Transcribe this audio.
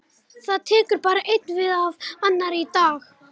Það tekur bara ein við af annarri í dag.